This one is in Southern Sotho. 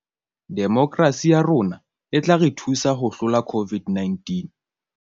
Demokerasi ya rona e tla re thusa ho hlola COVID -19